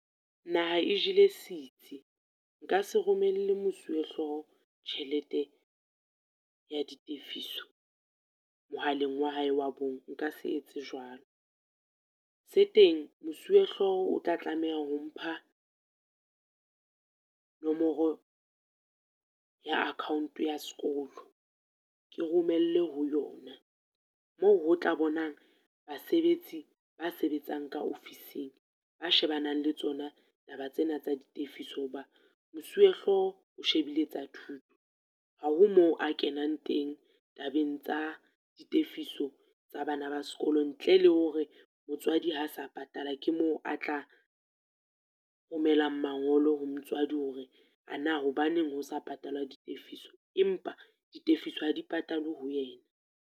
Naha e jele sitsi, nka se romele mosuwehloho tjhelete ya ditefiso mohaleng wa hae wa bong, nka se etse jwalo. Se teng mosuwehloho o tla tlameha ho mpha nomoro ya account ya sekolo, ke romelle ho yona, moo ho tla bonang basebetsi ba sebetsang ka ofising ba shebanang le tsona taba tsena tsa ditefiso, hoba mosuwehloho o shebile tsa thuto. Ha ho moo a kenang teng tabeng tsa ditefiso tsa bana ba sekolo, ntle le hore motswadi ha sa patala ke moo a tla romelang mangolo ho motswadi hore ana hobaneng ho sa patalwa ditefiso. Empa ditefiso ha di patalwe ho yena.